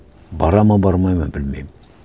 барады ма бармайды ма білмеймін